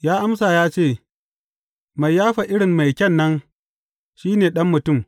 Ya amsa ya ce, Mai yafa irin mai kyan nan, shi ne Ɗan Mutum.